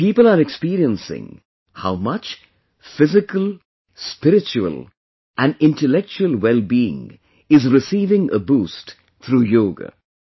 People are experiencing how much physical, spiritual and intellectual well being is receiving a boost through Yoga